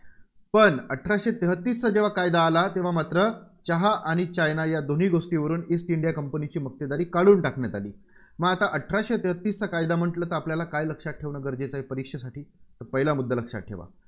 पण अठराशे तेहतीसचा जेव्हा कायदा आला तेव्हा मात्र चहा आणि चायना या दोन्ही गोष्टींवरून ईस्ट इंडिया कंपनीची मक्तेदारी काढून टाकण्यात आली. मग आता अठराशे तेहतीसचा कायदा म्हटलं तर आपल्याला काय लक्षात ठेवणं गरजेचं आहे, परीक्षेसाठी? पहिला मुद्दा लक्षात ठेवा.